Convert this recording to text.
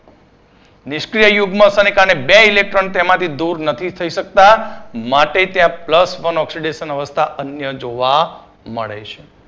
નિષ્ક્રિય યુગ્મ અસરને કારણે બે electron તેમાથી દૂર નથી થઈ શકતા માટે ત્યાં plus one oxidation અવસ્થા અન્ય જોવા મળે છે.